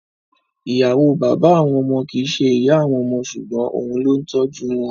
Ì̀yàwó bàbá àwọn ọmọ kìí ṣe ìyá àwọn ọmọ ṣùgbọ́n òun ló ń tọ́jú wọn.